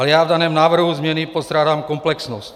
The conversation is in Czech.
Ale já v daném návrhu změny postrádám komplexnost.